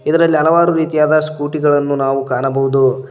ಇದರಲ್ಲಿ ಹಲವಾರು ರೀತಿಯಾದ ಸ್ಕೂಟಿ ಗಳನ್ನು ನಾವು ಕಾಣಬಹುದು.